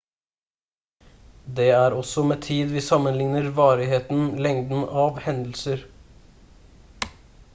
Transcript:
det er også med tid vi sammenligner varigheten lengden av hendelser